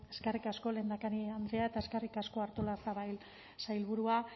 eskerrik asko lehendakari andrea eta eskerrik asko artolazabal sailburua